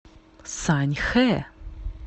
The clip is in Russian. саньхэ